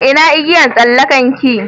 Ina igiyan tsallakan ki?